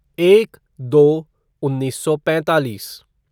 एक दो उन्नीस सौ पैंतालीस